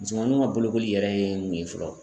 Musomaninw ka bolokoli yɛrɛ ye mun ye fɔlɔ.